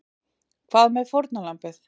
Hvað með fórnarlambið?